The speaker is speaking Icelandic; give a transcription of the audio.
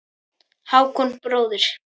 Hákon bróðir.